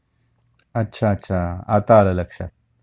अच्छा अच्छा आता आलं लक्षात